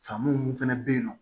Famori fɛnɛ be yen nɔ